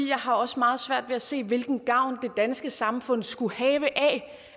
jeg har også meget svært ved at se hvilken gavn det danske samfund skulle have af